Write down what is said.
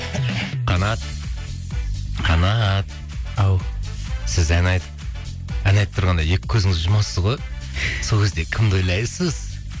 қанат қанат ау сіз ән айтып тұрғанда екі көзіңізді жұмасыз ғой сол кезде кімді ойлайсыз